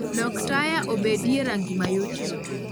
Lok taya obedi e rangi mayot yot